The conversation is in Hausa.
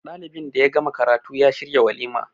dalinbin da ya gama karatu ya shiryawalima